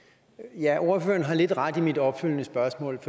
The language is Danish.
ja ordføreren har lidt ret i forhold mit opfølgende spørgsmål